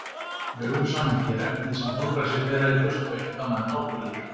Í öðru samhengi er efnið sem holræsi bera í burtu ekkert annað en áburður.